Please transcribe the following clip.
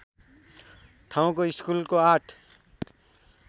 ठाउँको स्कुलको ८